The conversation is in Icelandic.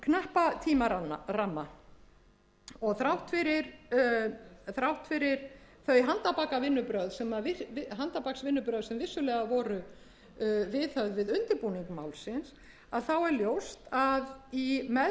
þennan kappi tímaramma og þrátt fyrir þau handarbaksvinnubrögð sem vissulega voru viðhöfð við undirbúning málsins að þá er ljóst að í meðförum